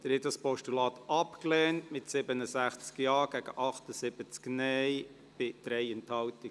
Sie haben dieses Postulat abgelehnt mit 67 Ja- gegen 78 Nein-Stimmen bei 3 Enthaltungen.